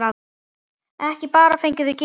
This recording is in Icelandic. Ekki bara fengið þau gefins.